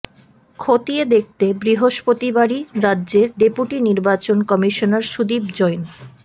খতিয়ে দেখতে বৃহস্পতিবারই রাজ্যে ডেপুটি নির্বাচন কমিশনার সুদীপ জৈন